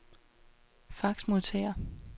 faxmodtager